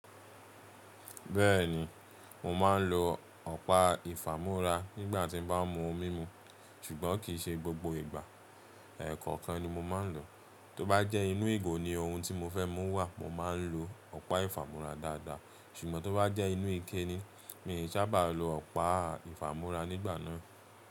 Bẹ́ẹ̀ni, mò má ń lo ọ̀pá ìfàmorà nígbà tí n bá mú omi mu, ṣùgbọ́n kìí ṣe gbogbo ìgbà. Ẹ̀ẹ̀kọ̀kan ni mo má ń lò. Tó bá jẹ́ inú ìgò ni ohun tí mo fẹ́ mú wà, mo má ń lo ọ̀pá ìfàmorà dáadáa. Ṣùgbọ́n tó bá jẹ́ inú ike ni, mi i sábà lo ọ̀pá ìfàmorà nígbà naa.